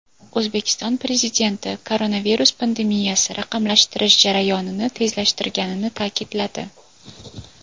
O‘zbekiston Prezidenti koronavirus pandemiyasi raqamlashtirish jarayonini tezlashtirganini ta’kidladi.